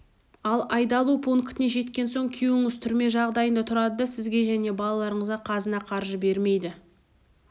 ал айдалу пунктіне жеткен соң күйеуіңіз түрме жағдайында тұрады да сізге және балаларыңызға қазына қаржы бермейді